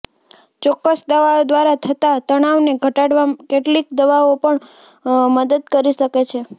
ચોક્કસ દવાઓ દ્વારા થતા તણાવને ઘટાડવામાં કેટલીક દવાઓ પણ મદદ કરી શકે છે